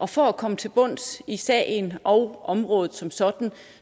for at komme til bunds i sagen og området som sådan